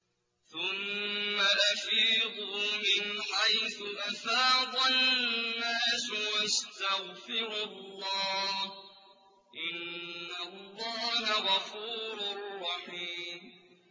ثُمَّ أَفِيضُوا مِنْ حَيْثُ أَفَاضَ النَّاسُ وَاسْتَغْفِرُوا اللَّهَ ۚ إِنَّ اللَّهَ غَفُورٌ رَّحِيمٌ